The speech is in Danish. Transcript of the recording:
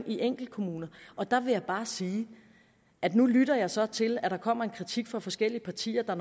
enkeltkommuner og der vil jeg bare sige at nu lytter jeg så til at der kommer kritik fra forskellige partier der